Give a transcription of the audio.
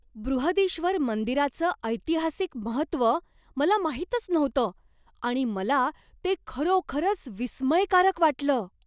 बृहदीश्वर मंदिराचं ऐतिहासिक महत्त्व मला माहीतच नव्हतं आणि मला ते खरोखरच विस्मयकारक वाटलं.